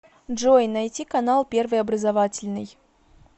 джой найти канал первый образовательный